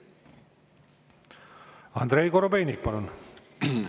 Andrei Korobeinik, palun!